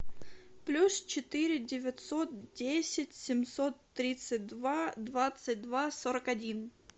плюс четыре девятьсот десять семьсот тридцать два двадцать два сорок один